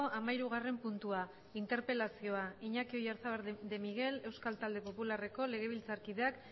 hamahirugarren puntua interpelazioa iñaki oyarzabal de miguel euskal talde popularreko legebiltzarkideak